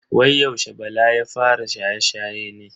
Wai yaushe bala ya fara shaye-shaye ne?